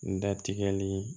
N da tigɛli